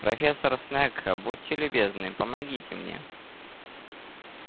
профессор снегг будьте любезны помогите мне